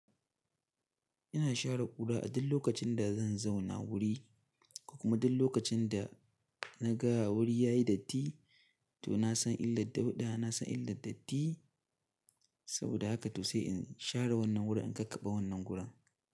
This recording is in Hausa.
Ina share kura a duk lokacin da zan zauna wuri, ko kuma duk lokacin da na ga wuri yayi datti to na san illar dauɗa, na san illar datti saboda haka to sai in share wannan wurin in kakkaɓe wannan gurin.